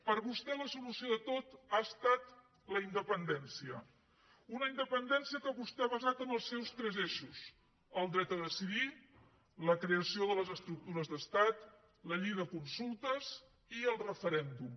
per vostè la solució de tot ha estat la independència una independència que vostè ha basat en els seus tres eixos el dret a decidir la creació de les estructures d’estat la llei de consultes i el referèndum